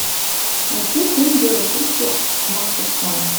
найти фильм дело чести макферсона